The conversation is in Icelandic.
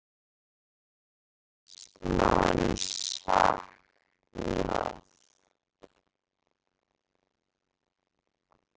Þá er eins manns saknað.